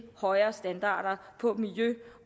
højere standarder på miljø